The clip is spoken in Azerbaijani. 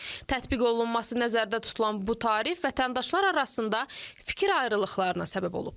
Tətbiq olunması nəzərdə tutulan bu tarif vətəndaşlar arasında fikir ayrılıqlarına səbəb olub.